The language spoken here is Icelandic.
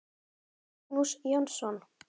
Magnús Jónsson